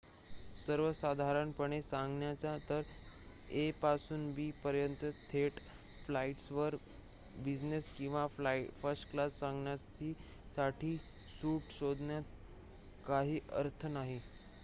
सर्वसाधारणपणे सांगायचे तर a पासून b पर्यंतच्या थेट फ्लाईट्सवर बिझनेस किंवा फर्स्टक्लास जागांसाठी सूट शोधण्यात काही अर्थ नाही